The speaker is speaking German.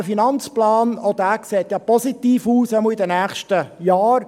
Auch dieser sieht positiv aus, jedenfalls für die nächsten Jahre.